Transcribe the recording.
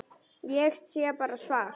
Ég sé bara svart.